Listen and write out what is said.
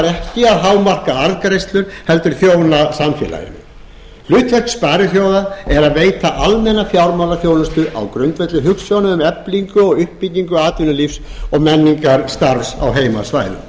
ekki að hámarka arðgreiðslur heldur þjóna samfélaginu hlutverk sparisjóðs er að veita almenna fjármálaþjónustu á grundvelli hugsjóna um eflingu og uppbyggingu atvinnulífs og menningarstarfs á heimasvæðum